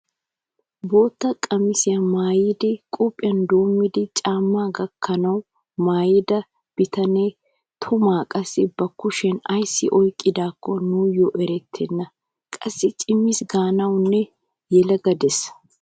Bootta qamisiyaa maayidi qophiyaa doommidi caammaa gakkanwu maayida bitanee toomaa qassi ba kushiyaan ayssi oyqqidaakko nuyoo erettena. qassi cimis gaanawunne yelaga de'ees.